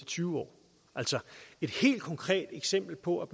tyve år et helt konkret eksempel på at